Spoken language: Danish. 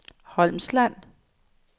Holmsland